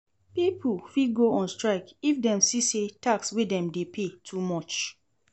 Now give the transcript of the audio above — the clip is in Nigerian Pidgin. Pipo fit go on strike if dem see say tax wey dem de pay too much